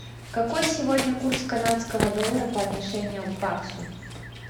какой сегодня курс канадского доллара по отношению к баксу